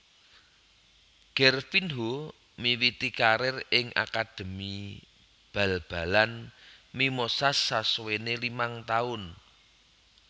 Gervinho miwiti karir ing akademi bal balan Mimosas sasuwené limang taun